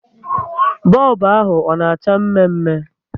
Bọlbụ ahụ ọ na acha mme mme?